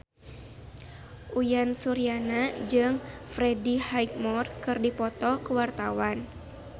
Uyan Suryana jeung Freddie Highmore keur dipoto ku wartawan